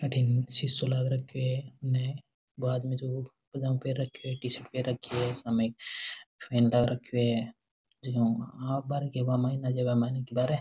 अठीन शीशो लाग रखयो है उनने वो आदमी जो है पजामा पेहेन रखयो है टी-शर्ट पेहेन रखी है सामने फैन लाग रखयो है --